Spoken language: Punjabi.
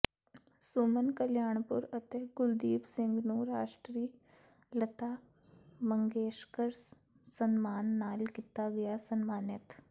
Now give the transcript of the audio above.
ਸੁਮਨ ਕਲਿਆਣਪੁਰ ਅਤੇ ਕੁਲਦੀਪ ਸਿੰਘ ਨੂੰ ਰਾਸ਼ਟਰੀ ਲਤਾ ਮੰਗੇਸ਼ਕਰ ਸਨਮਾਨ ਨਾਲ ਕੀਤਾ ਗਿਆ ਸਨਮਾਨਿਤ